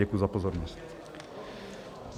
Děkuji za pozornost.